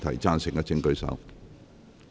贊成的請舉手。